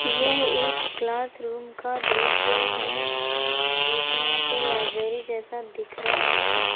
यह एक classroom का दृश्य है जो कि यहां पर लाइब्रेरी जैसा दिख रहा है।